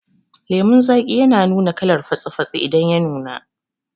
Lemun zaki ya nuna kalar fatsi fatsi idan ya nuna